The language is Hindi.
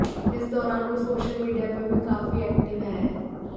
इस दौरान वो सोशल मीडिया पर भी काफी एक्टिव हैं